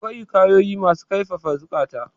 akwai hikayoyi masu kaifafa ziukata